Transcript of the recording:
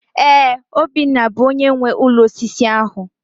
Ee, Obinna bụ onyé nwe ụlọ osisi ahụ